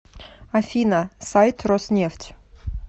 афина сайт роснефть